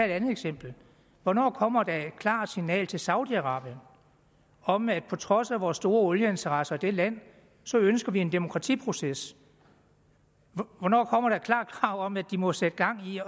et andet eksempel hvornår kommer der et klart signal til saudi arabien om at på trods af vores store olieinteresser i det land ønsker vi en demokratiproces hvornår kommer der et klart krav om at de må sætte gang i